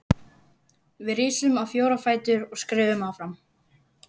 Við risum á fjóra fætur og skriðum áfram.